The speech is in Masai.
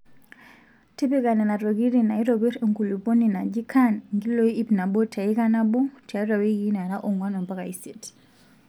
Tipika Nena tokitin naaitopirr enkulupuoni naji caan nkiloi ipnabo teika nabo tiatua wiki naara ong'uan mpaka isiet.